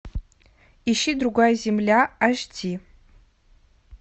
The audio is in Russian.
ищи другая земля аш ди